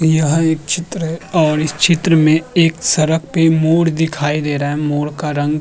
यह एक चित्र है और इस चित्र में एक सड़क पे मोर दिखाई दे रहा है। मोर का रंग --